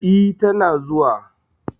E tana zuwa.